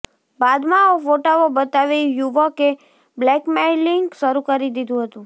બાદમાં આ ફોટાઓ બતાવી યુવકે બ્લેકમેઈલિંગ શરૂ કરી દીધું હતું